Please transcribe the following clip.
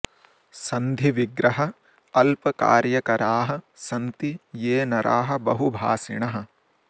सन्धि विग्रह अल्प कार्य कराः सन्ति ये नराः बहु भाषिणः